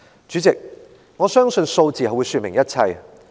主席，我相信數字會說明一切。